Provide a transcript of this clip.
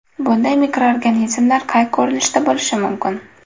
Bunday mikroorganizmlar qay ko‘rinishda bo‘lishi mumkin?